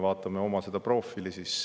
Vaatame oma profiili.